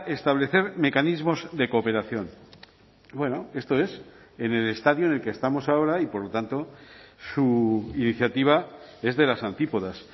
establecer mecanismos de cooperación bueno esto es en el estadio en el que estamos ahora y por lo tanto su iniciativa es de las antípodas